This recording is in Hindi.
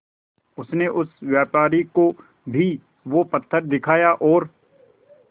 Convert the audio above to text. उनसे उस व्यापारी को भी वो पत्थर दिखाया और